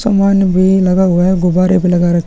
सामान भी लगा हुआ है गुब्बारे भी लगा रख--